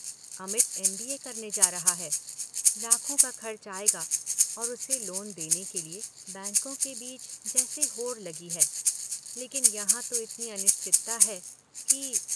Amit MBA करने जा रहा है - लाखों का खर्च आएगा और उसे लोन देने के लिए बैंकों के बीच जैसे होड़ लगी है - लेकिन यहां तो इतनी अनिश्चितता है कि।